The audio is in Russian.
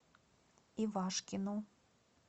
ивашкину